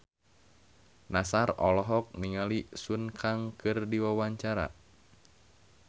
Nassar olohok ningali Sun Kang keur diwawancara